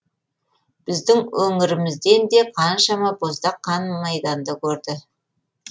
біздің өңірімізден де қаншама боздақ қан майданды көрді